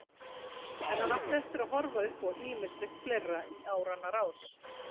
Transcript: En hann átti eftir að horfa upp á ýmislegt fleira í áranna rás.